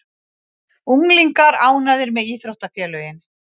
Unglingar ánægðir með íþróttafélögin